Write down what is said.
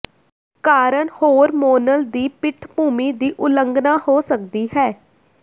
ਕਾਰਨ ਹੋਰਮੋਨਲ ਦੀ ਪਿੱਠਭੂਮੀ ਦੀ ਉਲੰਘਣਾ ਹੋ ਸਕਦੀ ਹੈ